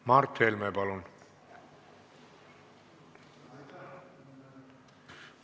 Mart Helme, palun!